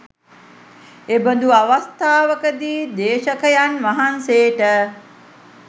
එබඳු අවස්ථාවකදී දේශකයන් වහන්සේට